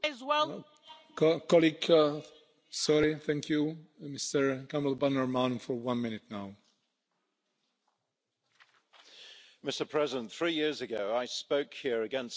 Mr President, three years ago I spoke here against the disastrous Iran nuclear agreement, the JCPOA.